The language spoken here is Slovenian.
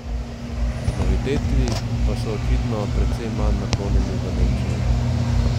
Noviteti pa so očitno precej manj naklonjeni v Nemčiji.